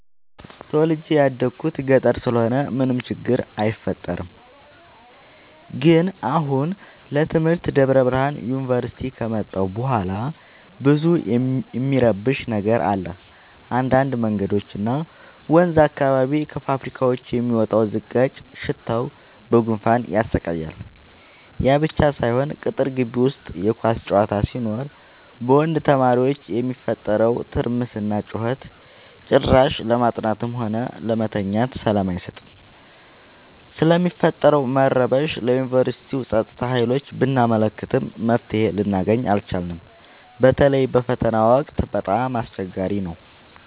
ተወልጄ የደኩት ገጠር ስለሆነ ምንም ችግር አይፈጠርም። ግን አሁን ለትምህርት ደብረብርሃን ዮንቨርሲቲ ከመጣሁ በኋላ ብዙ እሚረብሽ ነገር አለ እንዳድ መንገዶች እና ወንዝ አካባቢ ከፋብካዎች የሚወጣው ዝቃጭ ሽታው በጉንፋን ያሰቃያል። ያብቻ ሳይሆን ቅጥር ጊቢ ውስጥ የኳስ ጨዋታ ሲኖር በወንድ ተማሪዎች የሚፈጠረው ትርምስና ጩኸት ጭራሽ ለማጥናትም ሆነ ለመተኛት ሰላም አይሰጥም። ስለሚፈጠረው መረበሽ ለዮንቨርስቲው ፀጥታ ሀይሎች ብናመለክትም መፍትሔ ልናገኝ አልቻልም። በተለይ በፈተና ወቅት በጣም አስቸገሪ ነው።